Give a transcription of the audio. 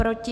Proti?